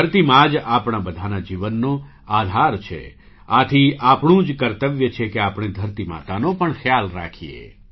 ધરતી મા જ આપણા બધાના જીવનનો આધાર છે આથી આપણું જ કર્તવ્ય છે કે આપણે ધરતી માતાનો પણ ખ્યાલ રાખીએ